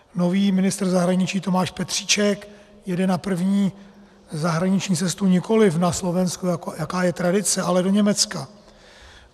Nový ministr zahraničí Tomáš Petříček jede na první zahraniční cestu nikoliv na Slovensko, jaká je tradice, ale do Německa.